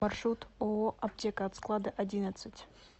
маршрут ооо аптека от склада одиннадцать